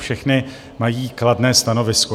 Všechny mají kladné stanovisko.